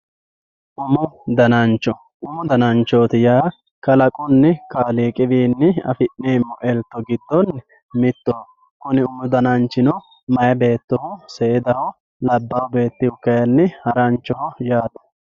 Umu daananchcho umu daananchchoti yaa kaalaqunni kaaliqiwinni affinemi elito giddonni mittoho kunni umu daananchchino mayyi beettoho seedaho labba beettihu kayinni haranchoho yatte